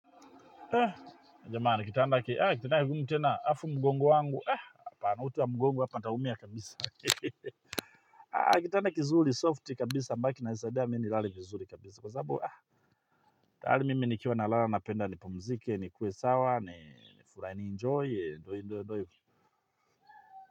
Haa jamani kitanda hiki haa kinataka nini tena hafu mgongo wangu haa apana utu wa mgongo hapa utaumia kabisa haa kitanda kizuri soft kabisa mpaka kinanisaidia mimi nilale vizuri kabisa kwa sababu haa tayari mimi nikiwa na lala napenda nipumzike ni kuwe sawa ni tuna enjoy doi doi.